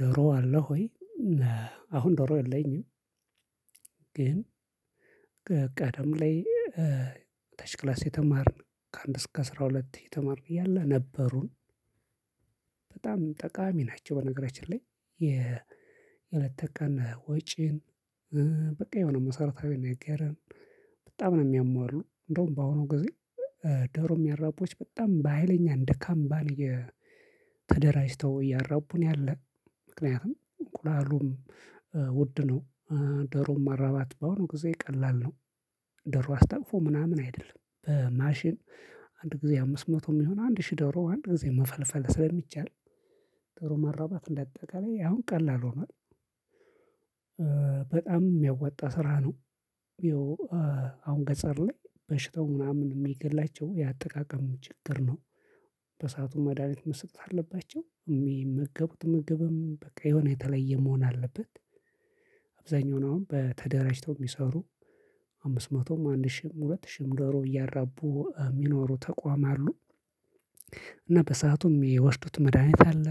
ዶሮ አለው ወይ? አሁን ዶሮ የለኝም። ግን ቀደም ላይ ተሽክላስ የተማርን ከአንድ እስከ አስራ ሁለት የተማርን እያለ ነበሩን። በጣም ጠቃሚ ናቸው በነገራችን ላይ። የለተቀን ወጪን በቃ የሆነ መሰረታዊ ነገረን። በጣም ነው የሚያሟሉ እንደውም በአሁኑ ጊዜ ደሮ የሚያራቡዎች በጣም በሃይለኛ እንደ ካምባኒ። ተደራጅተው እያራቡን ያለ ምክንያቱም እንቁላሉም ውድ ነው። ደሮም ማራባት በአሁኑ ጊዜ ቀላል ነው። ደሮ አስታቅፎ ምናምን አይደለም በማሽን አንድ ጊዜ አምስት መቶ የሚሆን አንድ ሺህ ደሮ አንድ ጊዜ መፈልፈል ስለሚቻል። ዶሮ ማራባት እንደ አጠቃላይ አሁን ቀላል ሆኗል። በጣም የሚያወጣ ስራ ነው። ይኸው አሁን ገጻር ላይ በሽታው ምናምን የሚገላቸው የአጠቃቀም ችግር ነው። በሰአቱ መድሃኒት መስጠት አለባቸው የሚመገቡት ምግብም በቃ የሆነ የተለየ መሆን አለበት። አብዛኛው አሁን በተደራጅተው የሚሰሩ አምስት መቶም አንድ ሺህም ሁለት ሺህም ዶሮ እያራቡ የሚኖሩ ተቋም አሉ። እና በሰአቱም የሚወስዱት መድሃኒት አለ።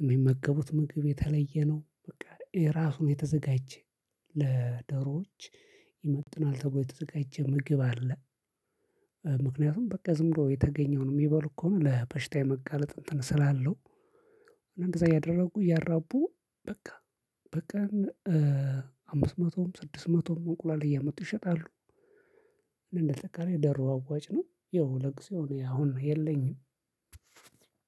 የሚመገቡት ምግብ የተለየ ነው በቃ የራሱን የተዘጋጀ ለደሮዎች ይመጥናል ተብሎ የተዘጋጀ ምግብ አለ። ምክንያቱም በቃ ዝም ብሎ የተገኘውን የሚበሉ ከሆነ ለበሽታ የመጋለጥ እንትን ስላለው። እንደዛ እያደረጉ እያራቡ በቃ በቀን አምስት መቶም ስድስት መቶም እንቁላል እያመጡ ይሸጣሉ። እንዳጠቃላይ ዶሮ አዋጭ ነው። ያው ለጊዜው እኔ አሁን የለኝም።